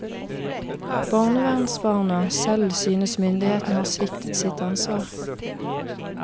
Barnevernsbarna selv synes myndighetene har sviktet sitt ansvar.